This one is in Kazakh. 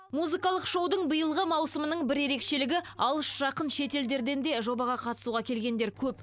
музыкалық шоудың биылғы маусымының бір ерекшелігі алыс жақын шетелдерден де жобаға қатысуға келгендер көп